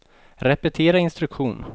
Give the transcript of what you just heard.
repetera instruktion